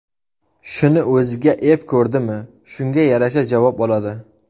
Shuni o‘ziga ep ko‘rdimi, shunga yarasha javob oladi.